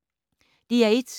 DR1